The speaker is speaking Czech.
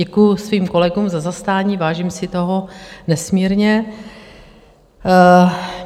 Děkuji svým kolegům za zastání, vážím si toho nesmírně.